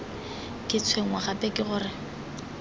ke tshwenngwa gape ke gore